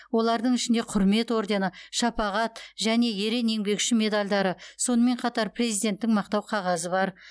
олардың ішінде құрмет ордені шапағат және ерен еңбегі үшін медальдары сонымен қатар президенттің мақтау қағазы бар